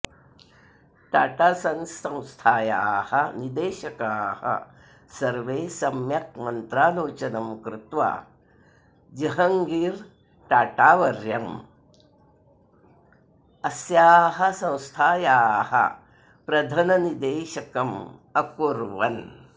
Tata Sons संस्थायाः निदेशकाः सर्वे सम्यक् मन्त्रालोचनं कृत्वा जहङ्गीरटाटावर्यम् अस्याः संस्थायाः प्रधननिदेशकम् अकुर्वन्